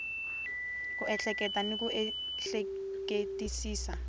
ku ehleketa ni ku ehleketisisa